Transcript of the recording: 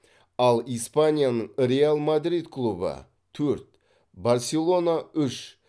ал испанияның реал мадрид клубы төрт барселона үш